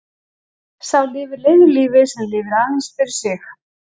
Sá lifir leiðu lífi sem lifir aðeins fyrir sig.